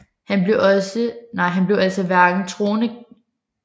Han blev altså hverken troende kristen eller troende jøde